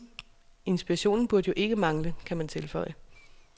Inspirationen burde jo ikke mangle, kan man tilføje.